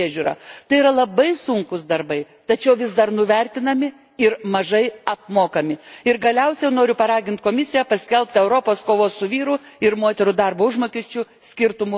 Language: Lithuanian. Tai yra labai sunkūs darbai, tačiau vis dar nuvertinami ir mažai apmokami. Ir galiausiai noriu paraginti Komisiją paskelbti Europos kovos su vyrų ir moterų darbo užmokesčio skirtumu metus.